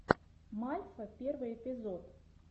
мальфа первый эпизод